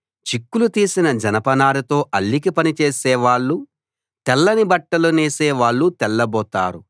చిక్కులు తీసిన జనపనారతో అల్లిక పని చేసే వాళ్ళూ తెల్లని బట్టలు నేసే వాళ్ళూ తెల్లబోతారు